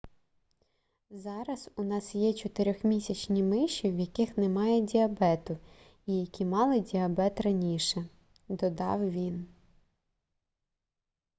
зараз у нас є 4-місячні миші в яких немає діабету і які мали діабет раніше - додав він